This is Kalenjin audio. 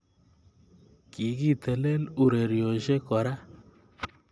Kikitelel urerioshek kora